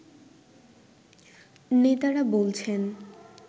নেতারা বলছেন